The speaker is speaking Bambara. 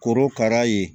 Korokara ye